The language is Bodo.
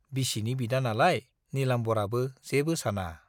बिसिनि बिदा नालाय नीलाम्बराबो जेबो साना।